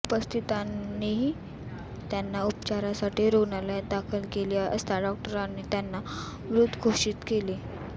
उपस्थितांनी त्यांना उपचारासाठी रुग्नालयात दाखल केले असता डाॅक्टरांनी त्यांना मृत घोषीत केले